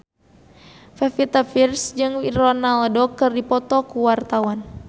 Pevita Pearce jeung Ronaldo keur dipoto ku wartawan